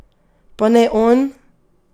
Pa ne on!